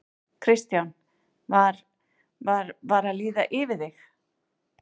Kristján: Var, var, var að líða yfir þig?